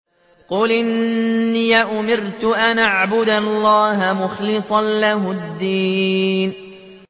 قُلْ إِنِّي أُمِرْتُ أَنْ أَعْبُدَ اللَّهَ مُخْلِصًا لَّهُ الدِّينَ